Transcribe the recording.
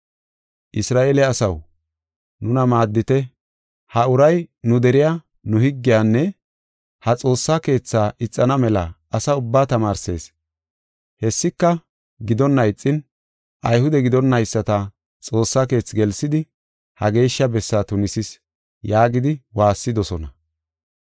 “Isra7eele asaw, nuna maaddite; ha uray, nu deriya, nu higgiyanne ha Xoossa Keetha ixana mela asa ubbaa tamaarsees. Hessika gidonna ixin Ayhude gidonnayisata Xoossa Keethi gelsidi, ha geeshsha bessaa tunisis” yaagidi waassidosona.